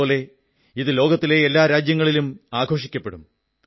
ഇതുപോലെ ഇത് ലോകത്തിലെ എല്ലാ രാജ്യങ്ങളിലും ആഘോഷിക്കപ്പെടും